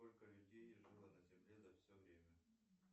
сколько людей жило на земле за все время